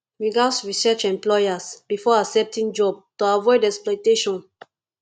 we gats research employers before accepting job to avoid exploitation